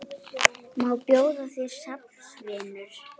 Má bjóða þér snafs, vinur?